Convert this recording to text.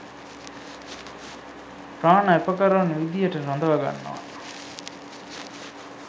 ප්‍රාණ ඇපකරුවන් විදිහට රඳවගන්නවා